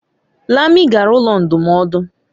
Lami gara ụlọ ndụmọdụ.